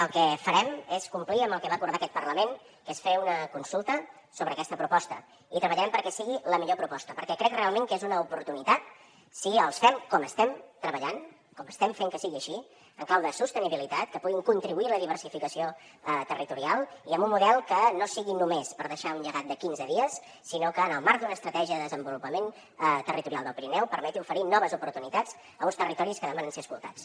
el que farem és complir amb el que va acordar aquest parlament que és fer una consulta sobre aquesta proposta i treballarem perquè sigui la millor proposta perquè crec realment que és una oportunitat si els fem com estem treballant com estem fent que sigui així en clau de sostenibilitat que puguin contribuir a la diversificació territorial i amb un model que no sigui només per deixar un llegat de quinze dies sinó que en el marc d’una estratègia de desenvolupament territorial del pirineu permeti oferir noves oportunitats a uns territoris que demanen ser escoltats